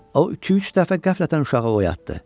O iki-üç dəfə qəflətən uşağı oyatdı.